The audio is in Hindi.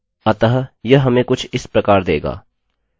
अतः यह हमें कुछ इस प्रकार देगा